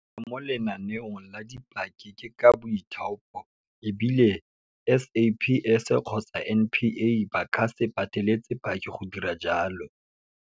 Go tsena mo lenaneong la dipaki ke ka boithaopo, e bile SAPS kgotsa NPA ba ka se pateletse paki go dira jalo.